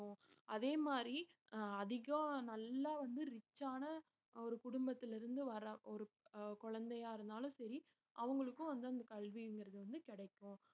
அதே மாதிரி அஹ் அதிகம் நல்லா வந்து rich ஆன ஒரு குடும்பத்திலே இருந்து வர்ற ஒரு அஹ் குழந்தையா இருந்தாலும் சரி அவங்களுக்கும் வந்து அந்த கல்விங்கிறது வந்து கிடைக்கும்